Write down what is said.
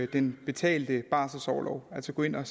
den betalte barselorlov altså går ind og